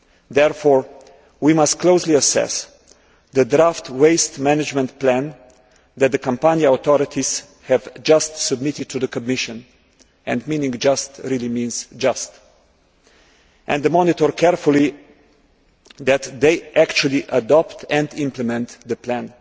Therefore, we must closely assess the draft waste management plan that the Campania authorities have just submitted to the Commission and just' really means just' and monitor carefully that they actually adopt and implement the plan.